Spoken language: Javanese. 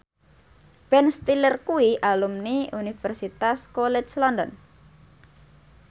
Ben Stiller kuwi alumni Universitas College London